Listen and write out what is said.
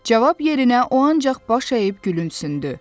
Cavab yerinə o ancaq baş əyib gülümsündü.